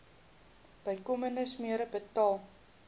bykomende smere betaal